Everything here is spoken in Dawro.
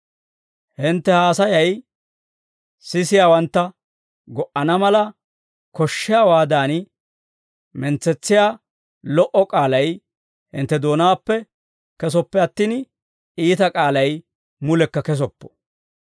Hintte haasayay sisiyaawantta go"ana mala, koshshiyaawaadan mentsetsiyaa lo"o k'aalay hintte doonaappe kesoppe attin, iita k'aalay mulekka kesoppo.